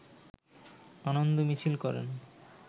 আনন্দ মিছিল করেন